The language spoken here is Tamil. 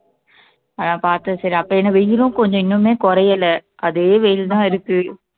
அதான் பாத்தேன் சரி அப்ப இன்னும் வெயிலும் கொஞ்சம் இன்னுமே குறையல அதே வெயில் தான் இருக்கு